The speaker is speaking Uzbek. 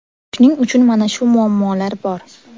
Shuning uchun mana shu muammolar bor.